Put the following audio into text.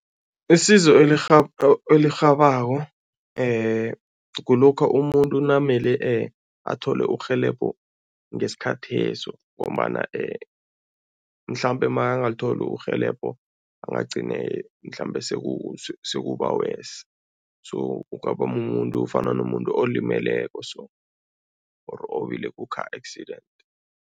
Isizo elirhabako kulokha umuntu namele athole urhelebho ngesikhatheso ngombana mhlambe makangalitholi urhelebho, angagcine mhlambe sekuba-worse so kungaba mumuntu ofana nomuntu olimeleko so or owile ku-car accident.